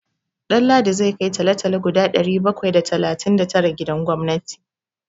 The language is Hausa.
Ɗanladi zai kai talo-talo guda ɗari bakwai da talatin da tara gidan gwamnati.